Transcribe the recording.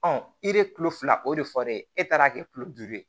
i bɛ kilo fila o de fɔ dɛ e taara kɛ tulo duuru ye